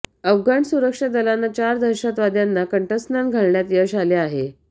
अफगाण सुरक्षा दलांना चार दहशतवाद्यांना कंठस्नान घालण्यात यश आले आहे